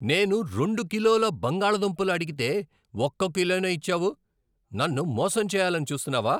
నేనురెండు కిలోల బంగాళదుంపలు అడిగితే, ఒక్క కిలోనే ఇచ్చావు! నన్ను మోసం చేయాలని చూస్తున్నావా?